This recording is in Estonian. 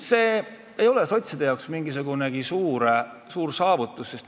See ei ole sotside jaoks mingisugune suur saavutus.